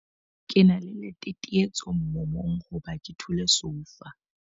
Ke na le letetetso moomong hoba ke thule soufa.